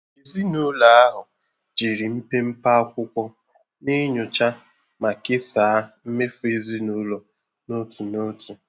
Ezinụlọ ahụ jiri mpepe akwụkwọ na-enyocha ma kesaa mmefu ezinụlọ n'otu n'otu.